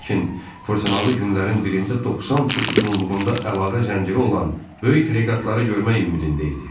Lakin fırtınalı günlərin birində 90 fut uzunluğunda əlavə zənciri olan böyük freqatları görmək ümidində idi.